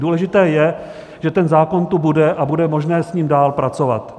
Důležité je, že ten zákon tu bude a bude možné s ním dál pracovat.